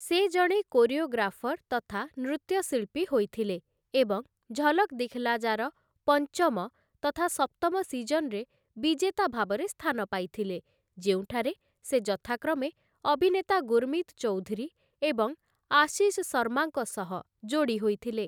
ସେ ଜଣେ କୋରିଓଗ୍ରାଫର ତଥା ନୃତ୍ୟଶିଳ୍ପୀ ହୋଇଥିଲେ ଏବଂ 'ଝଲକ୍‌ ଦିଖ୍‌ଲା ଜା' ର ପଞ୍ଚମ ତଥା ସପ୍ତମ ସିଜନରେ ବିଜେତା ଭାବରେ ସ୍ଥାନ ପାଇଥିଲେ, ଯେଉଁଠାରେ ସେ ଯଥାକ୍ରମେ ଅଭିନେତା ଗୁରୁମିତ ଚୌଧୁରୀ ଏବଂ ଆଶିଷ ଶର୍ମାଙ୍କ ସହ ଯୋଡ଼ି ହୋଇଥିଲେ ।